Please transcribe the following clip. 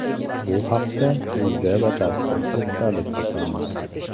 Bu haqda quyida batafsil to‘xtalib o‘tamiz.